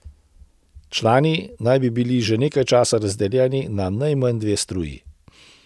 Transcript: Člani naj bi bili že nekaj časa razdeljeni na najmanj dve struji.